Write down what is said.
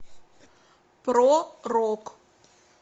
про рок